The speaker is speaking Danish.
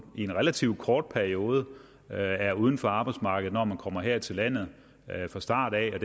relativt kort periode er er uden for arbejdsmarkedet når man kommer her til landet fra start af